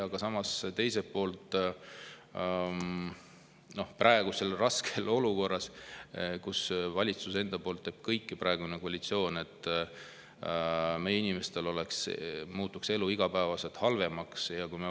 Aga samas, teiselt poolt, praegu on raske olukord, kus valitsus ja koalitsioon teevad kõik, et meie inimestel muutuks elu iga päevaga halvemaks.